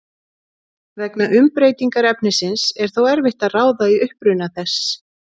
Vegna umbreytingar efnisins er þó erfitt að ráða í uppruna þess.